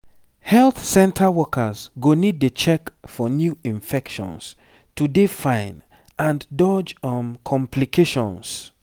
health center workers go need dey check for new infections to dey fine and dodge um complications